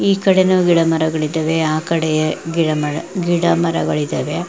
ಈ ಕಡೆನೂ ಗಿಡ ಮರಗಳಿದ್ದವೇ ಆ ಕಡೆ ಗಿಡ ಮರ ಗಿಡ ಮರಗಳಿದ್ದಾವೆ.